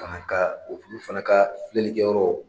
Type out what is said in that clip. Kan ka o kulu fana ka filɛlikɛ yɔrɔ